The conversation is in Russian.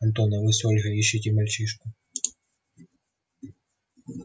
антон а вы с ольгой ищите мальчишку